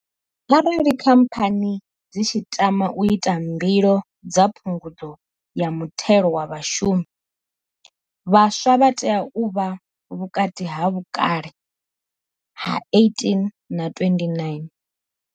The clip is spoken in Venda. Arali Khamphani dzi tshi tama u ita mbilo dza Phungudzo ya Muthelo wa Vhashumi, vhaswa vha tea u vha vhukati ha vhukale ha 18 na 29.